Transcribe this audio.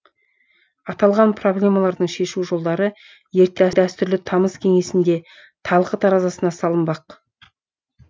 аталған проблемалардың шешу жолдары ертең дәстүрлі тамыз кеңесінде талқы таразасына салынбақ